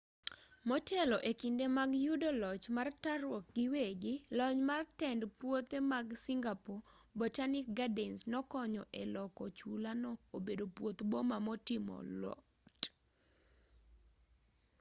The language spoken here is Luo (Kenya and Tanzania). motelo e kinde mag yudo loch mar taruok giwegi lony mar tend puothe mag singapore botanic gardens nokonyo e loko chula no obedo puoth boma motimo lot